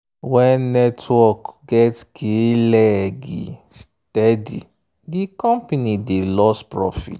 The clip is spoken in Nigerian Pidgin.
when network get k-leg steady di company dey lose profit.